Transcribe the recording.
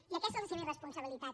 i aquesta és la seva irresponsabilitat